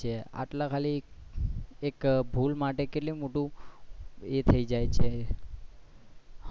આટલા ખાલી એક ભૂલ માટે કેટલું મોટું એ થઇ છે